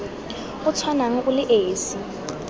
o tshwanang o le esi